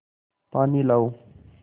पानी लाओ